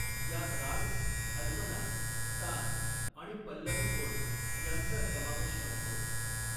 यात राग, अल्पना, तान आणि पल्लवी ओळ यांचा समावेश असतो.